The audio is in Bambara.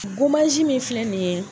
min filɛ nin ye.